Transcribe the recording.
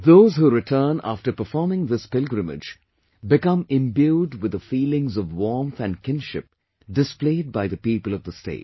Those who return after performing this pilgrimage become imbued with the feelings of warmth and kinship displayed by the people of the state